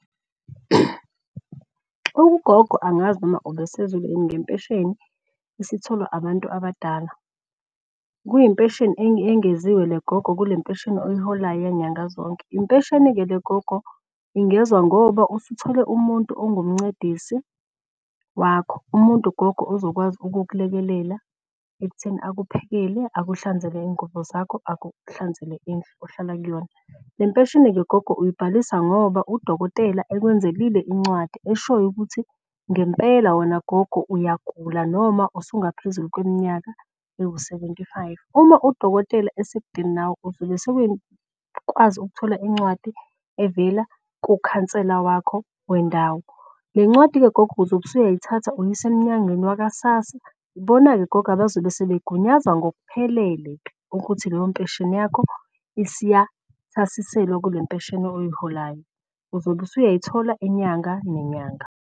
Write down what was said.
Ugogo angazi noma ubesezwile yini ngempesheni esitholwa abantu abadala. Kuyimpesheni engeziwe le gogo kule mpesheni oyiholayo yanyanga zonke. Impesheni-ke le gogo ingezwa ngoba usuthole umuntu ongumncedici wakho, umuntu ugogo ozokwazi ukukulekelela ekutheni akuphekele, akuhlanzele iy'ngubo zakho, akuhlanzele indlu ohlala kuyona. Le mpesheni-ke gogo uyibhalisa ngoba udokotela okwenzelile incwadi eshoyo ukuthi ngempela wena gogo uyagula noma usungaphezulu kweminyaka ewu-seventy five. Uma udokotela esekudeni nawe ukwazi ukuthola incwadi evela kukhansela wakho wendawo. Le ncwadi-ke gogo uzobe usuyayithatha uyise emnyangweni wakwa-SASSA. Ibona-ke gogo abazobe sebegunyaza ngokuphelele ukuthi leyo mpesheni yakho isiyathasiselwa kule mpesheni oyiholayo uzobe usuyayithola inyanga nenyanga.